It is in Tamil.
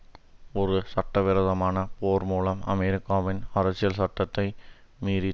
ஒரு சட்டவிரோதமான போர் மூலம் அமெரிக்காவின் அரசியல் சட்டத்தை மீறிதற்காக